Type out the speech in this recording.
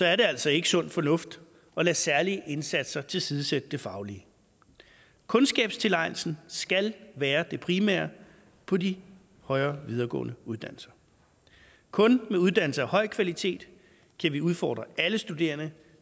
er det altså ikke sund fornuft at lade særlige indsatser tilsidesætte det faglige kundskabstilegnelsen skal være det primære på de højere videregående uddannelser kun med uddannelser af høj kvalitet kan vi udfordre alle studerende